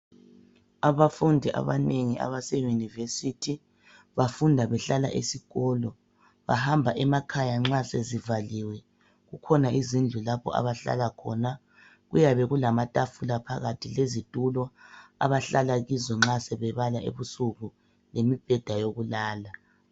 Abafundi abanengi abaseyunivesithi. Bafunda behlala esikolo. Bahamba emakhaya nxa sezivaliwe. Kukhona izindlu la abahlala khona. Kuyakube kulamatafula phakathi lezitulo abahlala kizo nxa sebebala ebusuku, lemibheda yokulala.